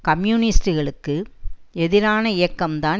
கம்யூனிஸ்டுகளுக்கு எதிரான இயக்கம் தான்